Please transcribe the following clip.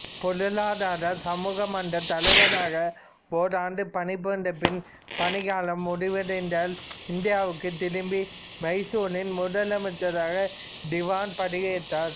பொருளாதார சமூக மன்றத் தலைவராக ஓராண்டு பணிபுரிந்து பின் பணிக்காலம் முடிவடைந்ததால் இந்தியாவுக்குத் திரும்பி மைசூரின் முதலமைச்சராகப் திவான் பதவியேற்றார்